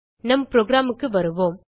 நம் programக்கு வருவோம்